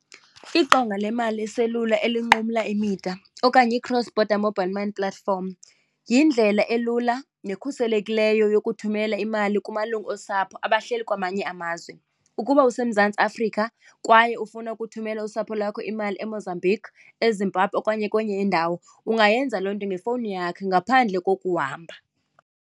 Iqonga le mali leselula elinqumla imida okanye i-cross-border mobile money platform yindlela elula nekhuselekileyo yokuthumela imali kumalungu osapho abahleli kwamanye amazwe. Ukuba useMzantsi Afrika kwaye ufuna ukuthumela usapho lwakho imali eMozambique, eZimbabwe okanye kwenye indawo, ungayenza loo nto ngefowuni yakho ngaphandle kokuhamba.